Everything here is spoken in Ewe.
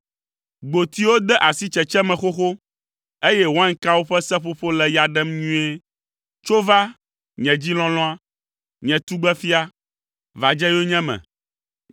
Gbotiwo de asi tsetse me xoxo, eye wainkawo ƒe seƒoƒo le ya ɖem nyuie. Tso va, nye dzi lɔlɔ̃a; nye tugbefia, va dze yonyeme.”